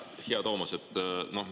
Hea Toomas!